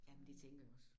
Ja men det tænker jeg også